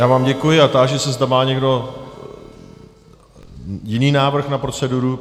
Já vám děkuji a táži se, zda má někdo jiný návrh na proceduru.